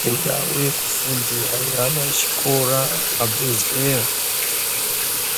Dzindau yekufundira yeana echikora abve zera